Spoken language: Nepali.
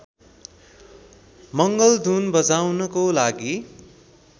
मङ्गलधुन बजाउनको लागि